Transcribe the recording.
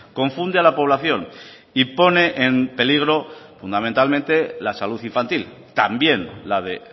confunde a la población y pone en peligro fundamentalmente la salud infantil también la de